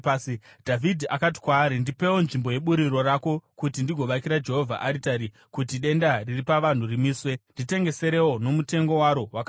Dhavhidhi akati kwaari, “Ndipewo nzvimbo yeburiro rako kuti ndigovakira Jehovha aritari, kuti denda riri pavanhu rimiswe. Nditengeserewo nomutengo waro wakazara.”